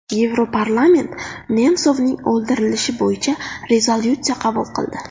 Yevroparlament Nemsovning o‘ldirilishi bo‘yicha rezolyutsiya qabul qildi.